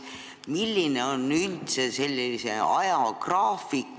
Milline on üldse ajagraafik?